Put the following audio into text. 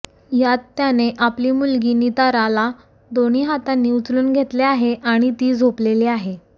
यात त्याने आपली मुलगी निताराला दोन्ही हातांनी उचलून घेतले आहे आणि ती झोपलेली आहे